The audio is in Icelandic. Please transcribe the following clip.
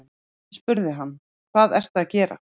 Ég spurði hann: Hvað ertu að gera?